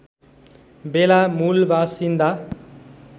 बेला मूलबासिन्दा